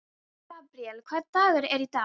Gabríel, hvaða dagur er í dag?